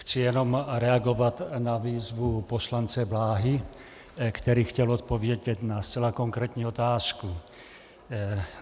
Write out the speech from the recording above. Chci jenom reagovat na výzvu poslance Blahy, který chtěl odpovědět na zcela konkrétní otázku.